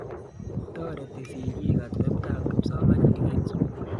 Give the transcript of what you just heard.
Toreti sikik ateptap kipsomaninik eng' sukul